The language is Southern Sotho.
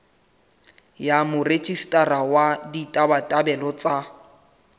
ya morejistara wa ditabatabelo tsa